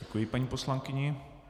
Děkuji paní poslankyni.